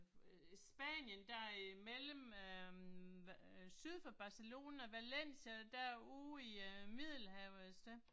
Øh Spanien derimellem øh syd for Barcelona, Valencia derude i øh Middelhavet et sted